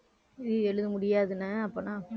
இது எழுத முடியாதுனே அப்பன்னா